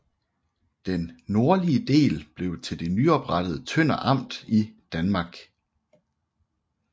Den nordlige del blev til det nyoprettede Tønder Amt i Danmark